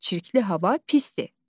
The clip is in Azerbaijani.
Çirkli hava pisdir.